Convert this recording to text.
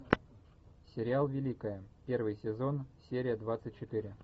сериал великая первый сезон серия двадцать четыре